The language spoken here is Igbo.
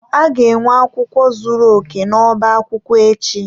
A ga-enwe akwụkwọ zuru oke n'ọba akwụkwọ echi.